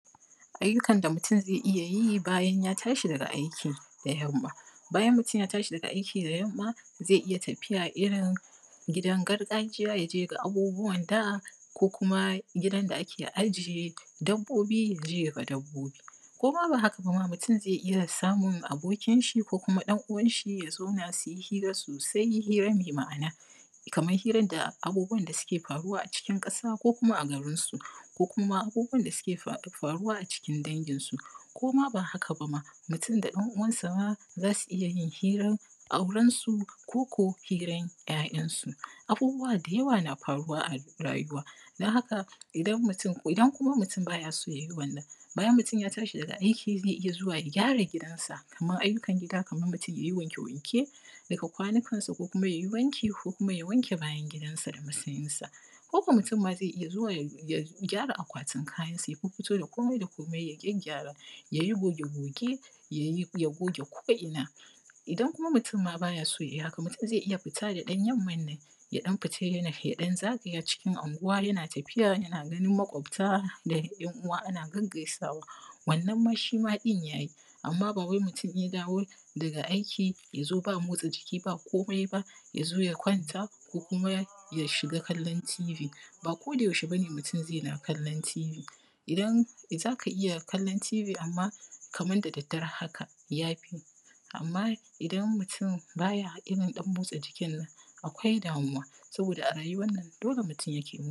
Ayyukan da mutum zai iya yi bayan ya tashi daga aiki da yamma. Bayan mutum ya tashi daga aiki da yamma, zai iya tafiy irin gidan gargajiya, ya je ya ga abubuwan da ko kuma gidan da ake ajiye dabbobi ya je ya ga dabbobi. Ko ma ba haka ba mutum zai iya samun abokinshi ko kuma ɗan uwanshi ya zauna su yi hira sosai mai ma'ana kamar hirar da abubuwan da suke faruwa a cikin ƙasa ko kuma a garinsu Ko kuma abubuwan da suke faruwa a cikin danginsu. Ko ma ba haka ba ma mutum da ɗan uwana ma za su iya yin hiran auren su ko ko hirar ‘ya’yansu. Abubuwa da yawa na faruwa a rayuwa don haka idan mutum. Idan kuma mutum ba ya son ya yi wannan. Bayan mutum ya tashi daga aiki zai iya zuwa ya gara gidansa. Kamar ayyukan gida kamar mutum ya yi wanke-wanke daga kwanukansa, ko kuma ya yi wanki ko ya wanke bayan gidansa da masensa. ko mutum ma zai iya zuwa ya ya gyara akwatin kayansa, ya fiffito da komai da komai ya gyagygyara. Ya yi goge-goge ya yi ya gogge ko’ina. Idan mutum ma ba ya so ya yi haka, mutum zai iya fita da ɗan yamman nan ya ɗan fita yana ya ɗan zagaya cikin ʔnguwa yana tafiya yana ganin makwabta: da ‘yan uwa ana gaggaisawa. Wannan ma shi ma ɗin ja ji amma ba wai mutum in ja dawo daga aiki ja zo ba motsa jiki, ba komai ba ya zo ya kwanta, ko kuma ya shiga kallon tibi. Ba kodayaushe ba ne mutum zai na kallon tibi. idan zaka iya kallon tibi kamar da daddare haka ja fi. Amma idan mutum ba ya irin ɗan motsa jikin nan akwai damuwa. Saboda a rayuwan nan dole mutum yana.